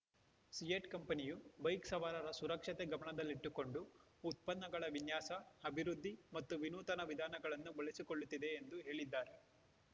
ಸಿಯೆಟ್ ಕಂಪನಿಯು ಬೈಕ್ ಸವಾರರ ಸುರಕ್ಷತೆ ಗಮನದಲ್ಲಿಟ್ಟುಕೊಂಡು ಉತ್ಪನ್ನಗಳ ವಿನ್ಯಾಸ ಅಭಿವೃದ್ಧಿ ಮತ್ತು ವಿನೂತನ ವಿಧಾನಗಳನ್ನು ಬಳಸಿಕೊಳ್ಳುತ್ತಿದೆ ಎಂದು ಹೇಳಿದ್ದಾರೆ